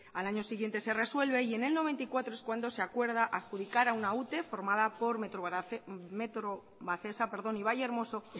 al años siguiente de resuelve y en mil novecientos noventa y cuatro es cuando se acuerda adjudicar a una ute formada por metrovacesa y vallehermoso